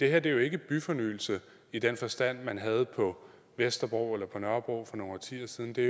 er jo ikke byfornyelse i den forstand man havde på vesterbro eller på nørrebro for nogle årtier siden det